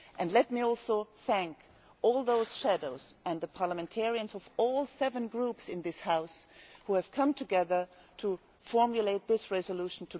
Let me also thank all those shadows and the parliamentarians of all seven groups in this House who have come together to formulate this resolution.